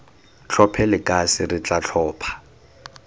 tlhophe lekase re tla tlhopha